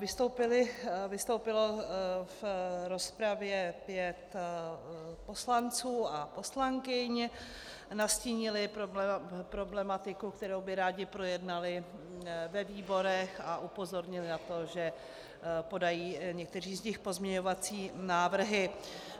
Vystoupilo v rozpravě pět poslanců a poslankyň, nastínili problematiku, kterou by rádi projednali ve výborech, a upozornili na to, že podají někteří z nich pozměňovací návrhy.